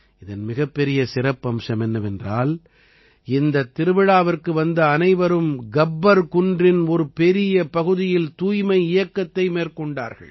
இதன் மிகப்பெரிய சிறப்பம்ஸம் என்னவென்றால் இந்தத் திருவிழாவிற்கு வந்த அனைவரும் கப்பர் குன்றின் ஒரு பெரிய பகுதியில் தூய்மை இயக்கத்தை மேற்கொண்டார்கள்